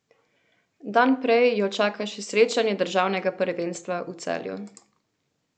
Dan prej jo čaka še srečanje državnega prvenstva v Celju.